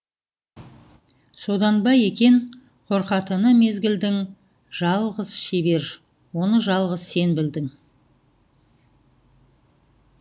содан ба екенқорқатыны мезгілдің жалғыз шебер оны жалғыз сен білдің